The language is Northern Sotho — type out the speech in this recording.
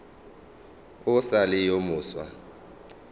o sa le yo mofsa